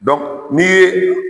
Dɔnk n'i ye